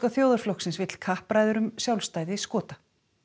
þjóðarflokksins vill kappræður um sjálfstæði Skota